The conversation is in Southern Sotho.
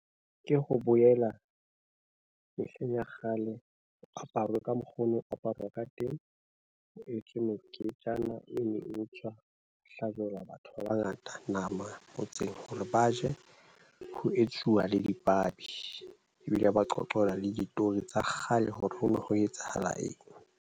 Ke ho boela mehleng ya kgale. Aparwe ka mokgo ho ne ho aparwa ka teng. Ho etswe meketjana e, mo hlajelwa batho ba bangata nama motseng hore ba je. Ho etsuwa le dipabi ebile ba qoqelwa le ditori tsa kgale hore ho no ho etsahala eng.